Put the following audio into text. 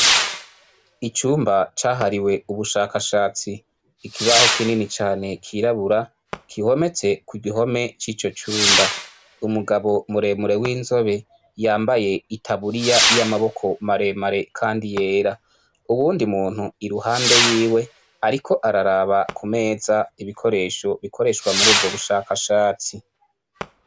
Icumba cahariwe ubushakashatsi, ikibaho kinini cane cirabura gihometse kugihome cico cumba, umugabo muremure w'inzobe yambaye itaburiya y'amaboko maremare kandi yera, uwundi muntu iruhande yiwe ariko araraba kumeza ibikoresho bikoreshwa murubwo bushakashatsi.